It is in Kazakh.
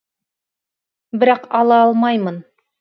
бірақ ала алмаймын